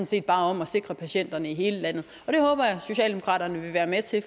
set bare om at sikre patienterne i hele landet og socialdemokraterne være med til